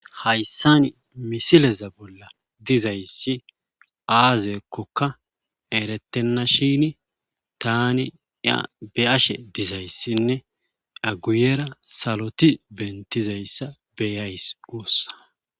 Hayssan misileza bolla dizayssi aazeekkokka erettenna shini tani be ashe dizayssinne aguyera saloti bentizayssa beyays uussa